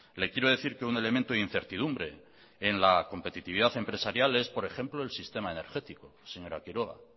le quiero decir que un elemento de incertidumbre en la competitividad empresarial es por ejemplo el sistema energético señora quiroga